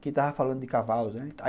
Que ele estava falando de cavalos, né?